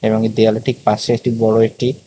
এবং দেয়ালের ঠিক পাশে একটি বড় একটি--।